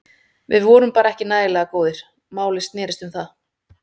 Við vorum bara ekki nægilega góðir, málið snérist um það.